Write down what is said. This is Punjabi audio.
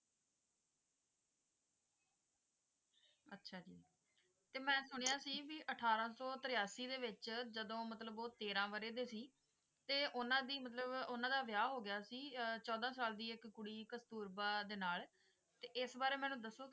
ਤੇ ਮੈਂ ਸੁਣਿਆ ਸੀ ਵੀ ਅਠਾਰਾਂ ਸੌ ਤਰਿਆਸੀ ਦੇ ਵਿੱਚ ਜਦੋਂ ਮਤਲਬ ਉਹ ਤੇਰਾਂ ਵਰੇ ਦੇ ਸੀ ਤੇ ਉਹਨਾਂ ਦੀ ਮਤਲਬ ਉਹਨਾਂ ਦਾ ਵਿਆਹ ਹੋ ਗਿਆ ਸੀ ਅਹ ਚੌਦਾਂ ਸਾਲ ਦੀ ਇੱਕ ਕੁੜੀ ਕਸਤੁਰਬਾ ਦੇ ਨਾਲ ਤੇ ਇਸ ਬਾਰੇ ਮੈਨੂੰ ਦੱਸੋ